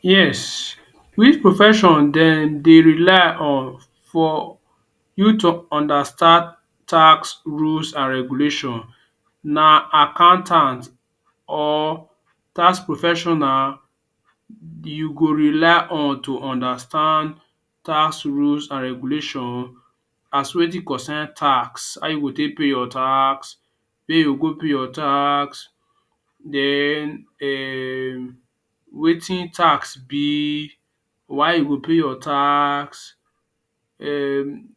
Yes, which profession den dey rely on for you to understand tax rules an regulation? Na accountant or tax professional you go rely on to understand tax rules an regulation as wetin concern tax – how you go take pay your tax, where you go pay your tax then um wetin tax be, why you go pay your tax um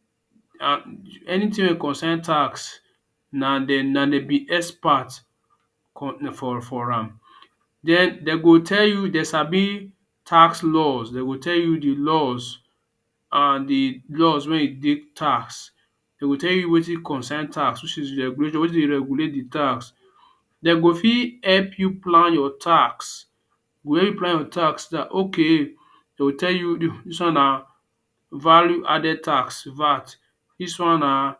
anything wey e concern tax – na de de be expert for for am. Then de go tell you de sabi tax laws, de go tell you the laws an the laws wey e dey tax. De go tell you wetin concern tax wetin dey regulate the tax. De go fit help you plan your tax, go help you plan your tax dat okay de’ll tell you dis one na Value Added Tax (VAT). Dis one na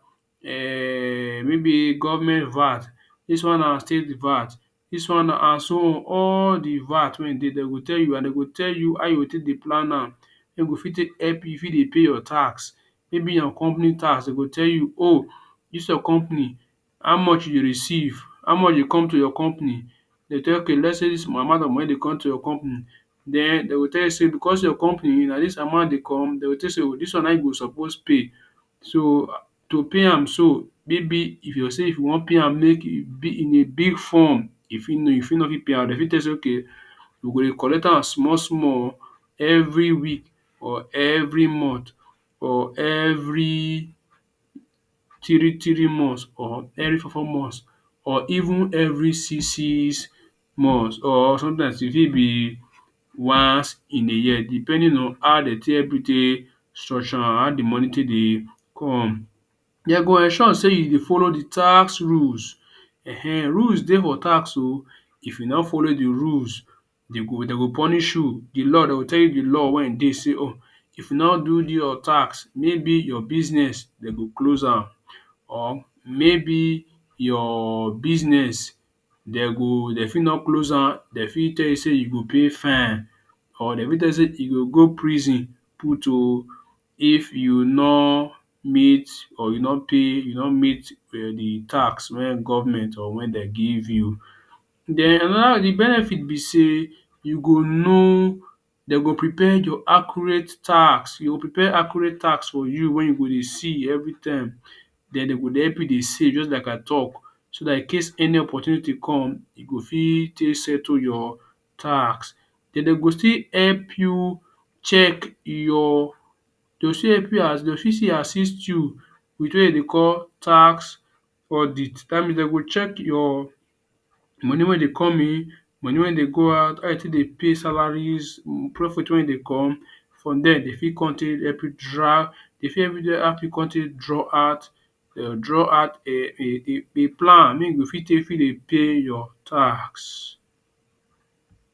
um maybe government VAT, dis one na state VAT, dis one na an so all the VAT wey [um]dey, de go tell you, an de go tell you how you go take dey plan am. De go fit take help you you fit dey pay your tax. Maybe your company tax, de go tell you oh dis your company, how much you dey receive, how much dey come to your company? De’ll tell you okay let’s say dis amount of money dey come to your company, then de go tell you sey becos your company na dis amount dey come, de go tell you sey dis one na um you go suppose pay. So, to pay am so, maybe if you say if you wan pay am in a big form, e fit know you fit no fit pay am de fit tell you sey okay, we go dey collect am small-small every week or every month, or every three-three months or every four-four months or even every six-six months or sometimes e fit be wance in a year depending on how de take help you take structure am – how the money take dey come. De go ensure sey you follow the tax rules um. Rules dey for tax oh. If you no follow the rules, de go de go punish you. The law de go tell you d law wey um dey sey [um]if you no do do your tax, maybe your business de go close am or maybe your business de go de fit no close am, de fit tell you sey you go pay fine. Or de fit tell you sey you go go prison put oh if you nor meet or you no pay you no meet um the tax wen government or wen de give you. Then the benefit be sey you go know de go prepare your accurate tax. You go prepare accurate tax for you wey you go dey see every time. Then de go dey help you dey save juz like I talk so dat in case any opportunity come, e go fit take settle your tax. Then de go still help you check your to de’ll fit still assist you wetin de dey call tax audit. Dat means de go check your money wey dey come in, money wey dey go out, how you take dey pay salaries, profit wey dey come. From there, de fit con take help you de fit draw out um draw out um a a plan make you go fit take fit dey pay your tax.